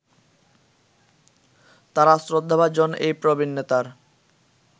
তারা শ্রদ্ধাভাজন এই প্রবীন নেতার